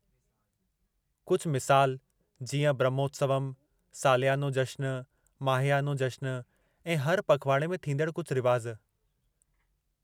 कुझु मिसाल जीअं: ब्रह्मोत्सवमु, सालियानो जश्नु, माहियानो जश्नु ऐं हर पखिवाड़े में थींदड़ कुझु रिवाज।